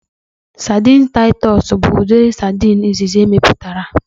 Sadin Taịtọs bụ udiri sadin izizi emeputara